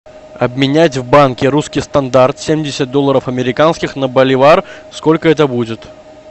обменять в банке русский стандарт семьдесят долларов американских на боливар сколько это будет